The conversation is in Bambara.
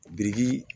Biriki